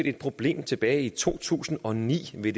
et problem tilbage i to tusind og ni ved